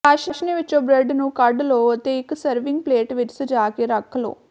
ਚਾਸ਼ਨੀ ਵਿਚੋਂ ਬ੍ਰੈਡ ਨੂੰ ਕੱਢ ਲਓ ਅਤੇ ਇਕ ਸਰਵਿੰਗ ਪਲੇਟ ਵਿਚ ਸਜਾ ਕੇ ਰੱਖ ਲਓ